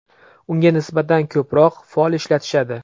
Unga nisbatan ko‘proq fol ishlatishadi.